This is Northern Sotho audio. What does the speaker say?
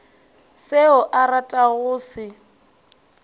seo a ratago go se